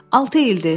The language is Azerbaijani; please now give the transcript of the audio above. Altı ildir,